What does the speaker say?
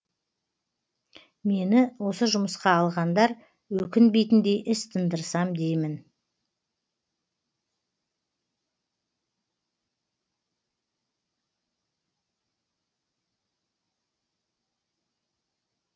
мені осы жұмысқа алғандар өкінбейтіндей іс тындырсам деймін